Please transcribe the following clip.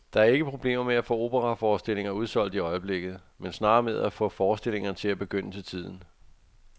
Der er ikke problemer med at få operaforestillinger udsolgt i øjeblikket, men snarere med at få forestillingerne til at begynde til tiden.